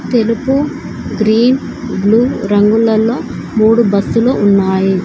తెలుపు green blue రంగులలో మూడు బస్సులు ఉన్నాయి.